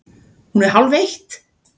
Hún er hálfeitt!